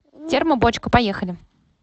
термобочка поехали